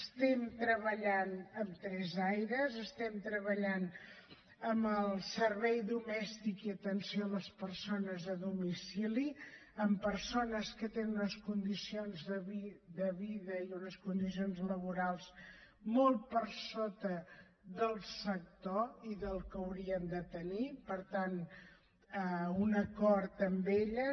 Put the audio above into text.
estem treballant en tres àrees estem treballant en el servei domèstic i atenció a les persones a domicili amb persones que tenen unes condicions de vida i unes condicions laborals molt per sota del sector i del que haurien de tenir per tant un acord amb elles